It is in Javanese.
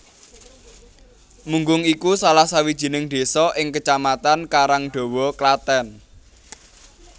Munggung iku salah sawijining désa ing Kecamatan Karangdawa Klathèn